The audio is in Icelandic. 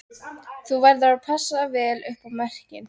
Þú verður að passa vel upp á merkin